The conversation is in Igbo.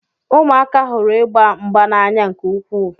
Ụmụaka hụrụ ịgba mgba n'anya nke ukwuu.